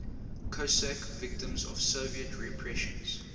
cossack victims of soviet repressions